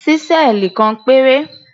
Ṣísẹ́ẹ̀lì kan péré.